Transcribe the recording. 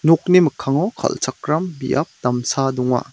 nokni mikkango kal·chakram biap damsa donga.